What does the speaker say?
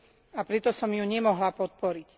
a preto som ju nemohla podporiť.